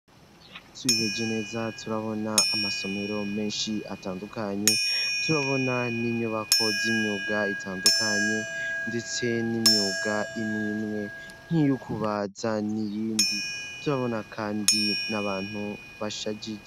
Twihweje neza turabona amasomero menshi atandukanye turabona n'inyubako z'imyuga itandukanye ndetse n'imyuga imwemwe nk'iyukubaza n'iyindi turabona kandi nabantu bashajije.